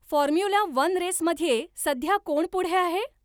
Formula one race मध्ये सध्या कोण पुढे आहे ?